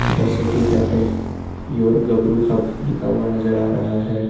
The city cafe your गबरू hub लिखा हुआ नजर आ रहा है।